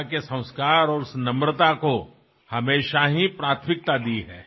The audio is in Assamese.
মই জানো যে ভাৰতৰ চিত্ৰ পৰিৱৰ্তিত হব ধৰিছে আৰু সেয়াই মোক অধিক সন্তোষিত কৰে